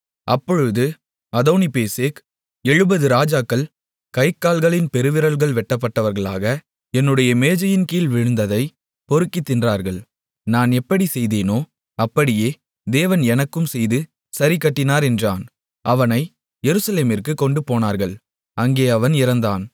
அப்பொழுது அதோனிபேசேக் 70 ராஜாக்கள் கை கால்களின் பெருவிரல்கள் வெட்டப்பட்டவர்களாக என்னுடைய மேஜையின்கீழ் விழுந்ததைப் பொறுக்கித் தின்றார்கள் நான் எப்படிச் செய்தேனோ அப்படியே தேவன் எனக்கும் செய்து சரிகட்டினார் என்றான் அவனை எருசலேமிற்குக் கொண்டுபோனார்கள் அங்கே அவன் இறந்தான்